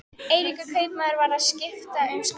Eiríkur kaupmaður var að skipta um skrá.